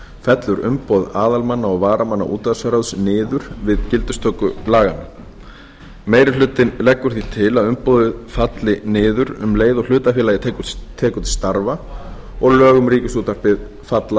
fellur umboð aðalmanna og varamanna útvarpsráðs niður við gildistöku laganna meiri hlutinn leggur því til að umboðið falli niður um leið og hlutafélagið tekur til starfa og lög um ríkisútvarpið falla